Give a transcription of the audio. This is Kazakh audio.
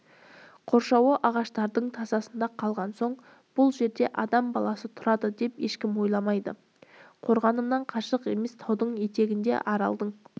қоршауы ағаштардың тасасында қалған соң бұл жерде адам баласы тұрады деп ешкім ойламайды қорғанымнан қашық емес таудың етегінде аралдың